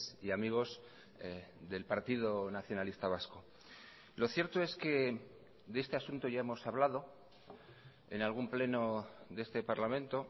y amigos del partido nacionalista vasco lo cierto es que de este asunto ya hemos hablado en algún pleno de este parlamento